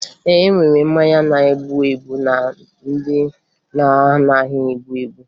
E nwere mmanya na-egbu egbu na ndị na-anaghị egbu egbu